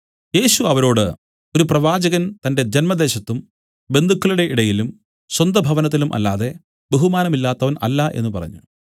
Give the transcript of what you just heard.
യേശു അവരോട് ഒരു പ്രവാചകൻ തന്റെ ജന്മദേശത്തും ബന്ധുക്കളുടെ ഇടയിലും സ്വന്തഭവനത്തിലും അല്ലാതെ ബഹുമാനമില്ലാത്തവൻ അല്ല എന്നു പറഞ്ഞു